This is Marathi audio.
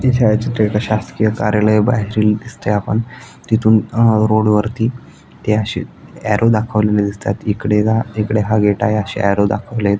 हे छायाचित्र एका शासकिय कार्यालय बाहेरील दिसतय आपण तिथुन अ रोड वरती ते अशी एअरो दाखवलेली दिसताय त इकड जा इकडे हा गेट आहे अशे एअरो दाखवले आहेत.